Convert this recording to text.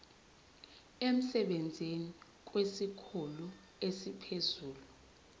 emsebenzini kwesikhulu esiphezulu